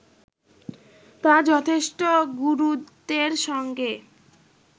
তা যথেষ্ট গুরুত্বের সঙ্গে